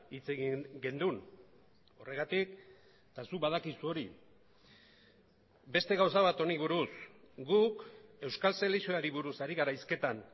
hitz egin genuen horregatik eta zuk badakizu hori beste gauza bat honi buruz guk euskal selekzioari buruz ari gara hizketan